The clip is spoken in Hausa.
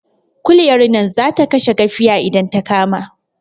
Kuliyar nan zata kashe gafiya idan ta kama